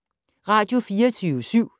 Radio24syv